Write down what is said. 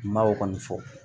N m'o kɔni fɔ